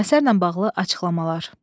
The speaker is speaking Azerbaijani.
Əsərlə bağlı açıqlamalar.